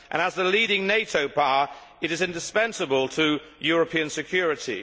As the leading NATO power, it is indispensable to European security.